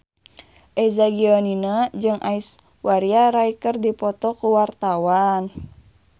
Eza Gionino jeung Aishwarya Rai keur dipoto ku wartawan